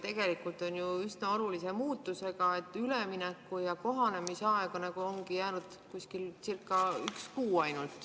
Tegelikult on tegu ju üsna olulise muutusega, aga ülemineku ja kohanemise aega nagu ongi jäänud circa kuu.